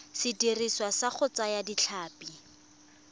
sediriswa sa go thaya ditlhapi